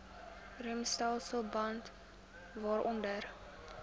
remstelsel bande waaronder